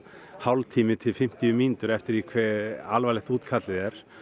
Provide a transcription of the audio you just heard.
hálftími til fimmtíu mínútur eftir því hve alvarlegt útkallið er